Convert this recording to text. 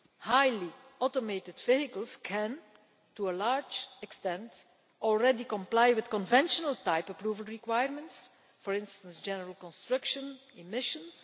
Highly-automated vehicles can, to a large extent, already comply with conventional type approval requirements, for instance general construction and emissions.